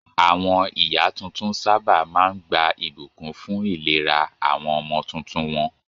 Àwọn ìyá tuntun sábà máa ń gba ìbùkún fún ìlera àwọn ọmọ tuntun wọn.